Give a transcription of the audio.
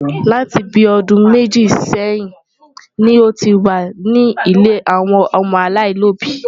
Láti bí ọdún méjì sẹ́yìn ni ó ti wà ní ilé àwọn ọmọ aláìlóbìí.